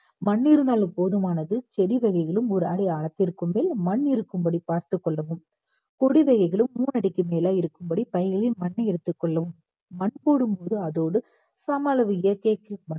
மண் இருந்தாலும் போதுமானது செடி வகைகளும் ஒரு அடி ஆழத்திற்கு மேல் மண் இருக்கும் படி பார்த்துக் கொள்ளவும் கொடி வகைகளும் மூனு அடிக்கு மேல இருக்கும்படி பைகளில் மண்ணை எடுத்துக் கொள்ளவும் மண் போடும் போது அதோடு சம அளவு இயற்கை